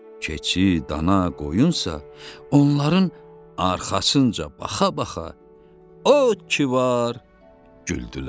Keçi, dana, qoyunsa onların arxasınca baxa-baxa o ki var güldülər.